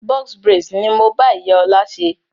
"Box braids" ni mo bá ìyá ọ̀la ṣe.